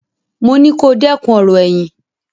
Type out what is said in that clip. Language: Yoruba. Mo ní kó dẹ́kun ọ̀rọ̀ ẹ̀yìn!